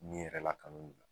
Ni yɛrɛ lakanali